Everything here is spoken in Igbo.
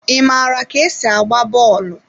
Ị maara ka esi agba bọọlụ?